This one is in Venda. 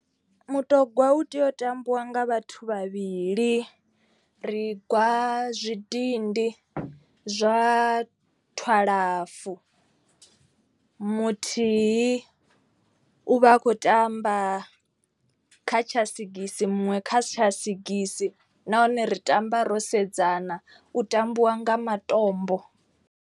Mutogwa u tea u tambiwa nga vhathu vhavhili. Ri gwa zwidindi zwa twalafu muthihi u vha a khou tamba kha tsha sigisi muṅwe kha si tsha sigisi. Nahone ri tamba ro sedzana u tambiwa nga matombo.